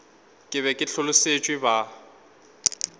ke be ke hlolosetšwe ba